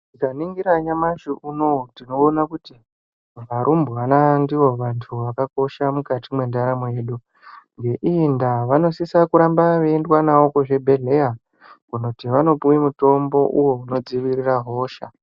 Tikaningira nyamashi unouyu tinoona kuti varumbwana ndivo vantu zvakakosha mukati mwendaramo yedu vanosisa kuramba veiendwa navo kuzvibhedhlera kuti vanopiwa mitombo inodzivirira hosha.